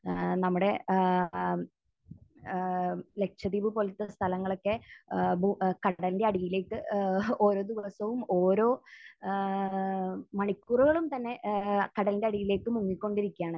ഏഹ് നമ്മുടെ ഏഹ് ഏഹ് ലക്ഷദ്വീപ് പോലത്തെ സ്ഥലങ്ങളൊക്കെ ഏഹ് ഭൂ...കടലിന്റെ അടിയിലേക്ക് ഏഹ് ഓരോ ദിവസവും ഓരോ ഏഹ് ഓരോ മണിക്കൂറുകളും തന്നെ ഏഹ് കടലിന്റെ അടിയിലേക്ക് മുങ്ങിക്കൊണ്ടിരിക്കുകയാണ്.